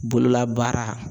Bololabaara